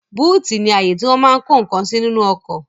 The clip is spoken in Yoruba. Búùtì ní àyè tí wọ́n máa n kó ǹkan sí nínú ọkọ̀